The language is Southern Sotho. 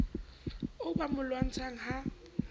oo ba mo lwantshang ha